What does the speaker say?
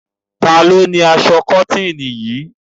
Ta ni ó ni aṣọ kọ́tíìnì yìí?